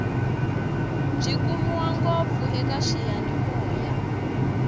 byi kumiwa ngopfu eka swiyanimoya